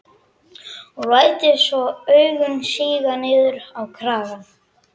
Og lætur svo augun síga niður á kragann.